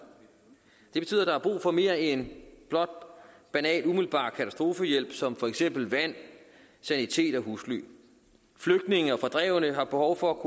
det betyder at der er brug for mere end blot banal umiddelbar katastrofehjælp som for eksempel vand sanitet og husly flygtninge og fordrevne har behov for at